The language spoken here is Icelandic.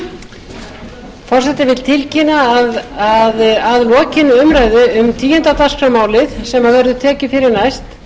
forseti vill tilkynna að að lokinni umræðu um tíundi dagskrármálið sem verður tekið fyrir næst